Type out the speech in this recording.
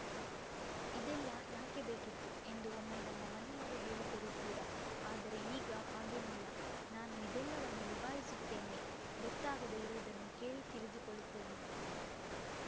ಇದೆಲ್ಲ ಯಾಕೆ ಬೇಕಿತ್ತು ಎಂದು ಒಮ್ಮೆ ನಮ್ಮ ಮನೆಯವರು ಹೇಳಿದ್ದರು ಕೂಡ ಆದರೆ ಈಗ ಹಾಗೇನಿಲ್ಲ ನಾನು ಇದೆಲ್ಲವನ್ನೂ ನಿಭಾಯಿಸುತ್ತೇನೆ ಗೊತ್ತಾಗದೆ ಇರುವುದನ್ನು ಕೇಳಿ ತಿಳಿದುಕೊಳ್ಳುತ್ತೇನೆ